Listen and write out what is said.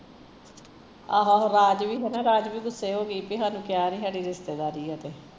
ਆਹੋ ਆਹੋ ਰਾਜ ਵੀ ਹੈਨਾ ਰਾਜ ਵੀ ਗੁੱਸੇ ਹੋ ਗਈ ਸੀ ਵੀ ਸਾਨੂ ਕਿਹਾ ਨੀ ਸਾਡੀ ਰਿਸਤੇਦਾਰੀ ਆ ਇੱਥੇ